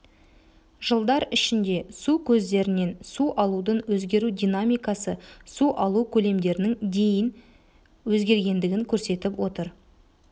жылдар ішінде су көздерінен су алудың өзгеру динамикасы су алу көлемдерінің дейін өзгергендігін көрсетіп отыр